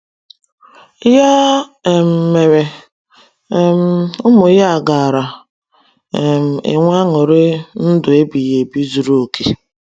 Ya um mere, um ụmụ ya gaara um enwe añụrị ndụ ebighi ebi zuru okè